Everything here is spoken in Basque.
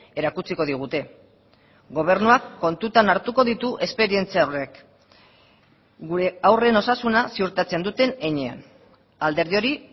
erakutsiko digute gobernuak kontutan hartuko ditu esperientzia horrek gure haurren osasuna ziurtatzen duten heinean alderdi hori